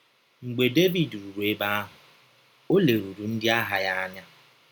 Mgbe Devid rụrụ ebe ahụ, o lerụrụ ndị agha ya anya.